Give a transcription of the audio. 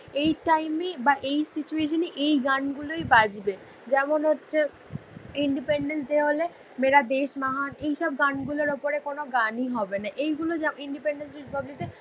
এই টাইম এ বা এই সিচুএসনে এই গান গুলো বাজবে যেমন হোছে ইনডেপেণড্যান্স ডে হলে মেড়া দেশ মহান এইসব গাণ গুলোর ওপরে কোনও গাণ ই হবে ণা এই গুলো ইনডেপেণড্যান্স রিপাবলিশে